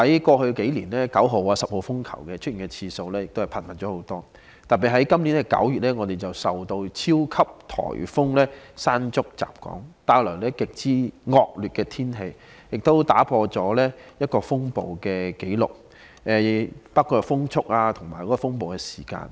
過去數年，懸掛9號烈風和10號颱風信號的次數更為頻密，特別是在今年9月，我們受到超級颱風"山竹"吹襲，帶來極之惡劣的天氣，更打破一些風暴紀錄，包括風速和風暴時間。